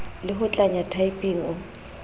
le ho tlanya typing o